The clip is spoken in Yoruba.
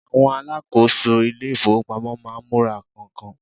awon asakoso ilé ifowopamọ ma n mura kan-kan